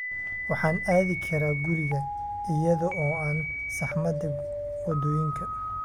Waxaan aadi karaa guriga iyada oo aan saxmadda waddooyinka